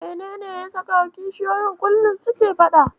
Menene ya saka kishiyoyi kullum suke faɗa?